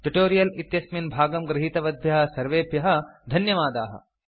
tutorial इत्यस्मिन् भागं गृहीतवद्भ्यः सर्वेभ्यः धन्यवादाः